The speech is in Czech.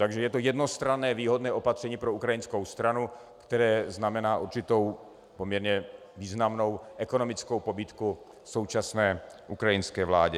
Takže je to jednostranné výhodné opatření pro ukrajinskou stranu, které znamená určitou poměrně významnou ekonomickou pobídku současné ukrajinské vládě.